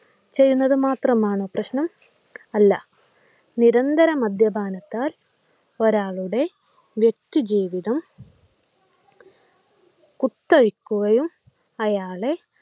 ചെയുന്നത് മാത്രമാണോ പ്രശനം അല്ല നിരന്തരം മദ്യപാനത്താൽ ഒരാളുടെ വ്യക്തി ജീവിതം കുത്തഴിക്കുകയും അയാളെ